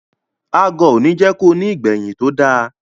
Agọ̀ òní jẹ́ ko ní ìgbẹ̀yìn tó da.